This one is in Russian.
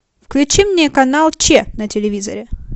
включи мне канал че на телевизоре